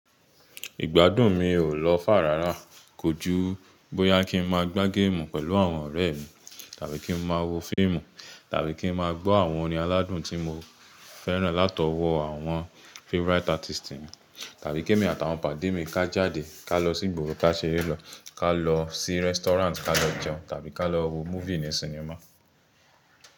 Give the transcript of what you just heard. Ìgbádùn mi ò lọ fà rárá. Kojú bóyá ki n máa gbá géèmù pẹ̀lú àwọn ọ̀rẹ́ mi, tàbí kí n máa wo fíìmù, tàbí kí n máa gbọ́ àwọn orin aládùn tí mo fẹ́ràn látọwọ́ àwọn favourite artist mi, tàbí kí èmi àtàwọn pàdé mi ká jáde ká lọ sí ìgboro ká ṣe eré lọ, ká lọ sí restaurant ká lọ jẹun, tàbí ká lọ wo múfì ní sinimá.